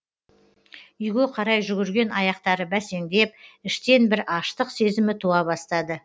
үйге қарай жүгірген аяқтары бәсеңдеп іштен бір аштық сезімі туа бастады